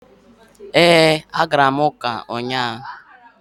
Ee, agara m ụka ụnyahụ.